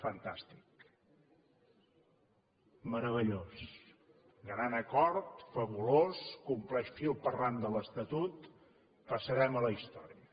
fantàstic meravellós gran acord fabulós compleix fil per randa l’estatut passarem a la història